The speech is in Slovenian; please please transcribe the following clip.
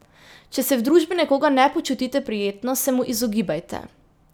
Če se v družbi nekoga ne počutite prijetno, se mu izogibajte.